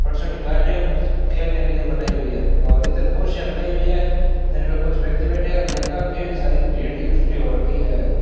खेलने के लिए बनाई हुई है और इधर कुर्सियां लगाई हुई है जिनमें कुछ व्यक्ति बैठे हैं और यहां काफी सारी भीड़ इकट्ठी हो रखी है।